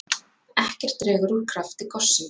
Ekkert dregur úr krafti gossins